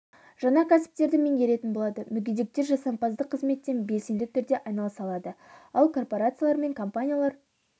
жаңа кәсіптерді меңгеретін болады мүгедектер жасампаздық қызметпен белсенді түрде айналыса алады ал корпорациялар мен компаниялар